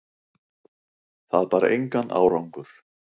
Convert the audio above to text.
Það bar engan árangur.